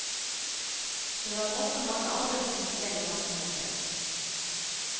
Det var også mange andre som tok del i massemordet.